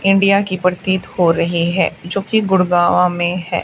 India की प्रतीत हो रही है जोकि गुड़गांवा में है।